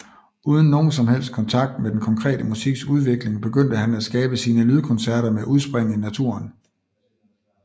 Uden nogen som helst kontakt med den konkrete musiks udvikling begyndte han at skabe sine lydkoncerter med udspring i naturen